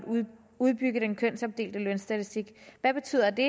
udbygge den kønsopdelte lønstatistik hvad betyder det